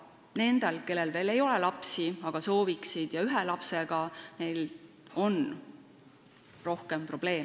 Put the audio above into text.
Nendel, kellel veel ei ole lapsi, aga kes neid soovivad, ja ühe lapsega peredel on rohkem probleeme.